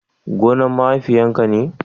gonna mahaifiya ka ne?